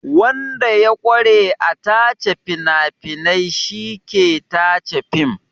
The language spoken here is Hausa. Wanda ya ƙware a tace fina-finai shi ke tace fim.